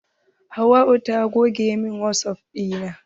Hauwa ta goge min wasap ɗina.